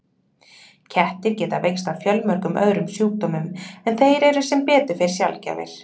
Kettir geta veikst af fjölmörgum öðrum sjúkdómum en þeir eru sem betur fer sjaldgæfir.